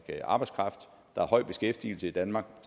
arbejdskraft der er høj beskæftigelse i danmark